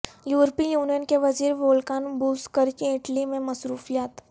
یورپی یونین کے وزیر وولکان بوزکرکی اٹلی میں مصروفیات